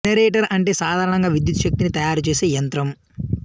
generator అంటే సాధారణంగా విద్యుత్ శక్తిని తయారు చేసే యంత్రం